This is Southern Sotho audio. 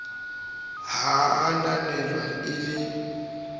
ha a ananelwe e le